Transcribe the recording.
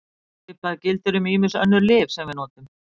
Svipað gildir um ýmis önnur lyf sem við notum.